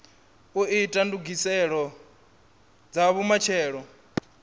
u ita ndugiselo dza vhumatshelo